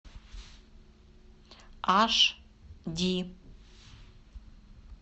аш ди